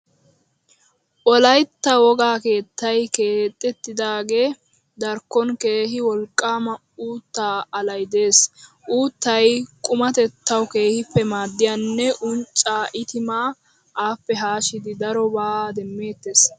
Wolaytta wogaa keettay keexettidaagaa darkkon keehi wolqqaama uuttaa alay de'ees. Uuttay qumatettawu keehippe maaddiyanne unccaa, itimaa, appe haashidi darobaa demmeettees.